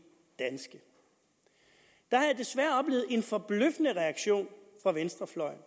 danske der har jeg desværre oplevet en forbløffende reaktion fra venstrefløjen